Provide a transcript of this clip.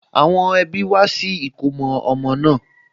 Àwọn ẹbí wá sí ìkómọ ọmọ náà